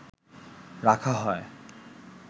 রাখা হয়